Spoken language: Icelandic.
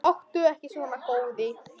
Láttu ekki svona góði.